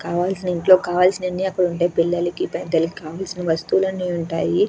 కావాల్సిన వాణ్ని ఇంట్లో కావాల్సిన వాణ్ని అక్కడ ఉంటాయి పిల్లలకి పెద్ధలకి కావాల్సిన వస్తువులు అక్కడ ఉంటాయి.